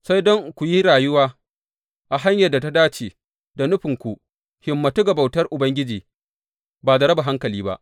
Sai dai don ku yi rayuwa a hanyar da ta dace da nufin ku himmantu ga bautar Ubangiji ba da raba hankali ba.